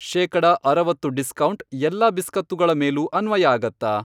ಶೇಕಡ ಅರವತ್ತು ಡಿಸ್ಕೌಂಟ್, ಎಲ್ಲಾ ಬಿಸ್ಕತ್ತುಗಳ ಮೇಲೂ ಅನ್ವಯ ಆಗತ್ತಾ?